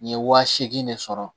N ye wa seegin de sɔrɔ